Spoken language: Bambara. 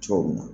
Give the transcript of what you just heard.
Cɔ mun na